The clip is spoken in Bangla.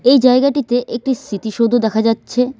এই জায়গাটিতে একটি স্মৃতিসৌধ দেখা যাচ্ছে।